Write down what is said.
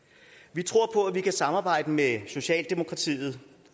vi tror på at vi kan samarbejde med socialdemokratiet